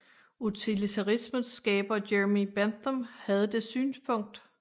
Utilitarismens skaber Jeremy Bentham havde det synspunkt